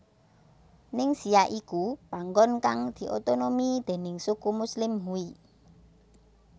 Ningxia iku panggon kang diotonomi déning suku muslim Hui